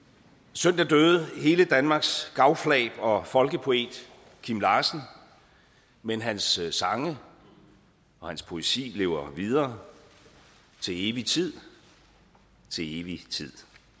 søndag døde hele danmarks gavflab og folkepoet kim larsen men hans sange og hans poesi lever videre til evig tid til evig tid